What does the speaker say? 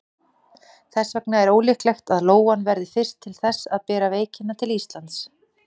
Þess vegna er ólíklegt að lóan verði fyrst til þess að bera veikina til Íslands.